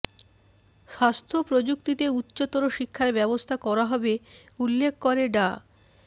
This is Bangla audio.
স্বাস্থ্য প্রযুক্তিতে উচ্চতর শিক্ষার ব্যবস্থা করা হবে উল্লেখ করে ডা